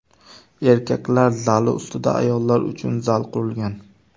Erkaklar zali ustida ayollar uchun zal qurilgan.